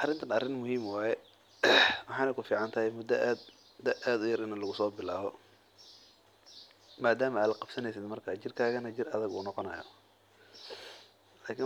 Arinkan arin muhiim ah waye waxeey kufican tahay adhiga yar inaad soo bilaabto lakin dadka ayago weyn ayeey bilaban taas xanuun waye jirkada wuu burburaya masoo kici